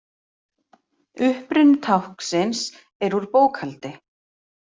Uppruni táknsins er úr bókhaldi.